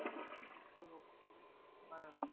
বানানো